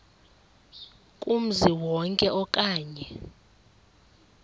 kumzi wonke okanye